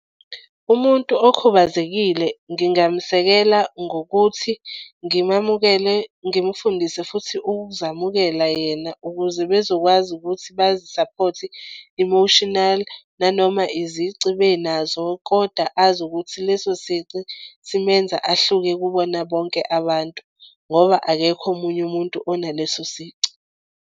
Umuntu okhubazekile ngingamesekela ngokuthi ngimamukele, ngimufundise futhi ukuzamukela yena ukuze bezokwazi ukuthi bazisaphothe emotional nanoma izici benazo koda azi ukuthi leso sici simenze ahluke kubona bonke abantu, ngoba akekho omunye umuntu onaleso sici.